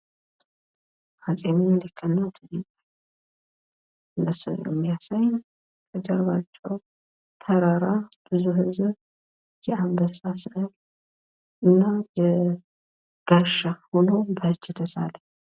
አፄ ሚኒሊክ እና እቴጌ ምስልን የሚያሳይ እና በጀርባቸዉ ተራራ ብዙ ህዝብ እንዲሁም ጋሻ በእጅ የተሳለ።